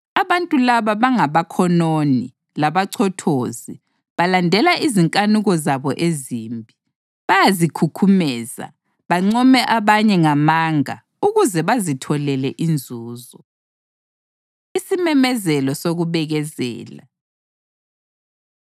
Abantu laba bangabakhononi labachothozi; balandela izinkanuko zabo ezimbi; bayazikhukhumeza, bancome abanye ngamanga ukuze bazitholele inzuzo. Isimemezelo Sokubekezela